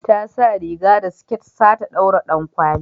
Ta sa riga da siket sa ta daura dankwali